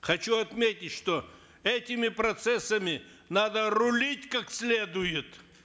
хочу отметить что этими процессами надо рулить как следует